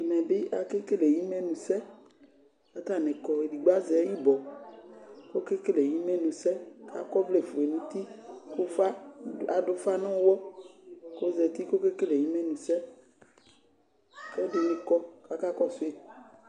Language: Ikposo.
Ɛmɛbi akekeke katanɩ kɔ, edigbo azɛ ɩbɔkɔkekele ɩmenʊsɛ Akɔvlɛ fue nutɩ, adʊfa nuyɔ kozati kekele imenuse Ɛdinikɔ kakakɔsui